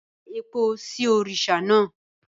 Da epo sí orí òrìṣà náà!